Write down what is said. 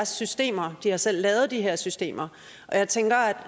systemer de har selv lavet de her systemer og jeg tænker at